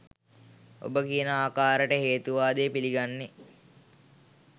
ඔබ කියන ආකාරයට හේතුවාදය පිළිගන්නේ